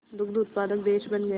दुग्ध उत्पादक देश बन गया